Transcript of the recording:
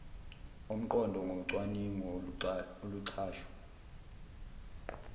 omqondo ngocwaningo oluxhaswe